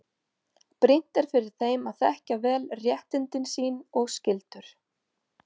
Brýnt er fyrir þeim að þekkja vel réttindi sín og skyldur.